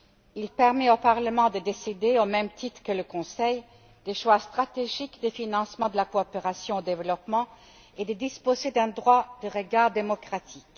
Il permet au Parlement de décider, au même titre que le Conseil, des choix stratégiques du financement de la coopération au développement et de disposer d'un droit de regard démocratique.